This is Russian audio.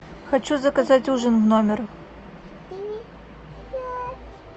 хочу заказать ужин в номер